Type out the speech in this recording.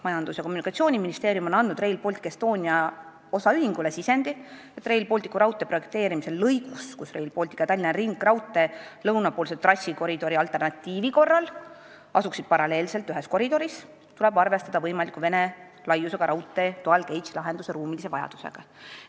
Majandus- ja Kommunikatsiooniministeerium on andnud Rail Baltic Estonia osaühingule sisendi, et Rail Balticu raudtee projekteerimisel lõigus, kus Rail Baltic ja Tallinna ringraudtee lõunapoolse trassikoridori alternatiivi korral asuksid paralleelselt ühes koridoris, tuleb ruumiliselt arvestada sellega, et vaja võib minna ka Vene laiust ehk dual gauge lahendust.